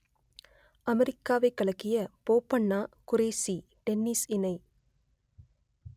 அமெரிக்காவைக் கலக்கிய போபண்ணா குரேஷி டென்னிஸ் இணை